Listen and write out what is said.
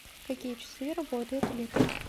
в какие часы работает электрик